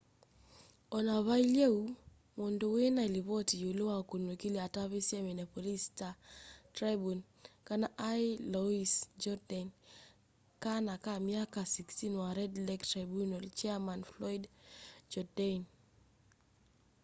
ona vailye uu mundu wina livoti yiulu wa ukunikili atavisye minneapolis star tribune kana ai louis jourdain kana ka myaka 16 wa red lake tribunal chairman floyd jourdain